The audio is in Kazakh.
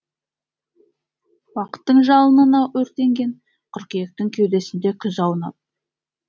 уақыттың жалынына өртенген қыркүйектің кеудесінде күз аунап